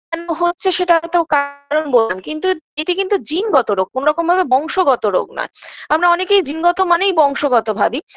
কেন হচ্ছে সেটা তো কারণ কিন্তু এটি কিন্তু জিনগত রোগ কোনরকম ভাবে বংশগত রোগ নয় আমরা অনেকেই জিনগত মানেই বংশগত ভাবি